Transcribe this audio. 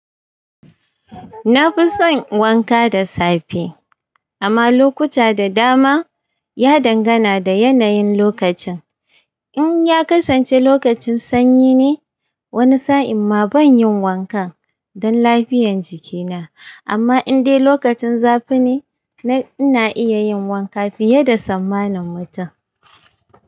Na fi son wanka da safe, amma lokuta da dama ya dangana da yanayin lokacin. In ya kasance lokacin sanyi ne, wani sa'in ma ban yin wankan don lafiyan jikina. Amma in dai lokacin zafi ne, ina iya yin wanka fiye da tsammanin mutum.